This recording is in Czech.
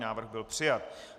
Návrh byl přijat.